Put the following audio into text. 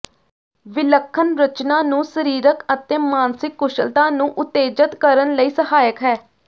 ਵਿਲੱਖਣ ਰਚਨਾ ਨੂੰ ਸਰੀਰਕ ਅਤੇ ਮਾਨਸਿਕ ਕੁਸ਼ਲਤਾ ਨੂੰ ਉਤੇਜਤ ਕਰਨ ਲਈ ਸਹਾਇਕ ਹੈ